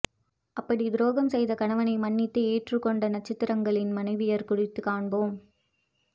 அப்படி துரோகம் செய்த கணவனை மன்னித்து ஏற்றுக் கொண்ட நட்சத்திரங்களின் மனைவியர் குறித்து காண்போம்